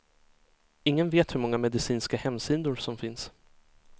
Ingen vet hur många medicinska hemsidor som finns.